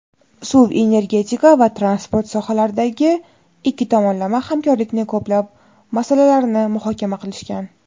suv-energetika va transport sohalaridagi ikki tomonlama hamkorlikning ko‘plab masalalarini muhokama qilishgan.